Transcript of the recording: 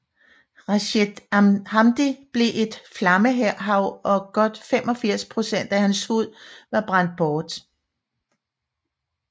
Rached Hamdi blev et flammehav og godt 85 procent af hans hud var brændt bort